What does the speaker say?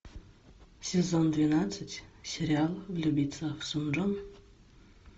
сезон двенадцать сериал влюбиться в сун джон